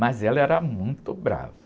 Mas ela era muito brava.